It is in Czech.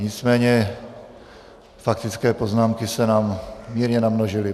Nicméně faktické poznámky se nám mírně namnožily.